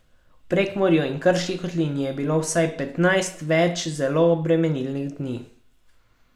V Prekmurju in krški kotlini je bilo vsaj petnajst več zelo obremenilnih dni.